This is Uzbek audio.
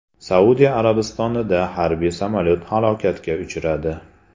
Saudiya Arabistonida harbiy samolyot halokatga uchradi.